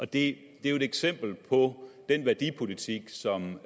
det er jo et eksempel på den værdipolitik som